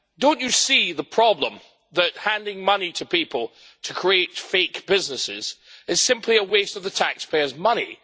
Don't you see the problem that handing money to people to create fake businesses is simply a waste of the taxpayers' money?